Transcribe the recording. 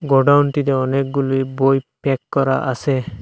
গোডাউনটিতে অনেকগুলি বই প্যাক করা আসে ।